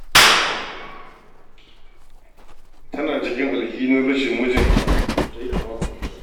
Tana cikin alhihin rashin mijinta da ta yi a makon jiya.